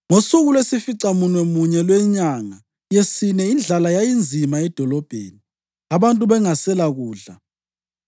Ngosuku lwesificamunwemunye lwenyanga yesine indlala yayisinzima edolobheni, abantu bengaselakudla.